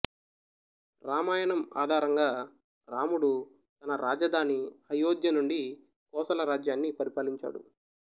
రామాయణం ఆధారంగా రాముడు తన రాజధాని అయోధ్య నుండి కోసల రాజ్యాన్ని పరిపాలించాడు